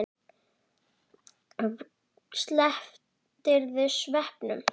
Slepptirðu sveppunum?